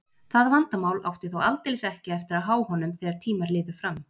Það vandamál átti þó aldeilis ekki eftir að há honum þegar tímar liðu fram.